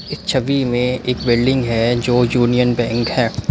छवि में एक बिल्डिंग है। जो यूनियन बैंक है।